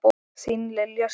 Þín Lilja Sif.